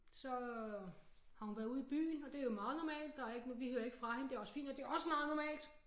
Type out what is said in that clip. Så har hun været ude i byen og det jo meget normalt der ikke noget vi hører ikke fra hende det også fint nok det også meget normalt